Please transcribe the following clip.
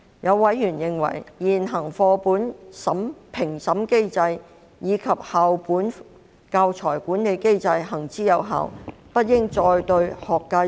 有委員認為，現行的課本評審機制及校本教材管理機制行之有效，因此不應再對學界施壓。